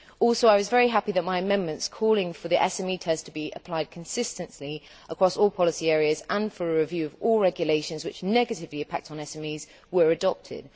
I was particularly happy that my amendments calling for the SME test to be applied consistently across all policy areas, and for a review of all regulations which negatively impact on SMEs, were adopted.